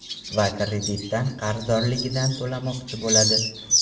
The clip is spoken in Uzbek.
Va kreditdan qarzdorligidan to‘lamoqchi bo‘ladi.